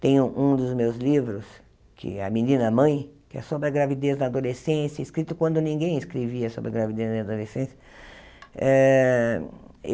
Tenho um dos meus livros, que é A Menina Mãe, que é sobre a gravidez da adolescência, escrito quando ninguém escrevia sobre a gravidez da adolescência. Ah